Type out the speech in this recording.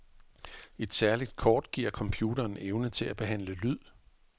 Et særligt kort giver computeren evne til at behandle lyd.